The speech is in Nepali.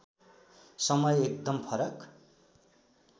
समय एकदम फरक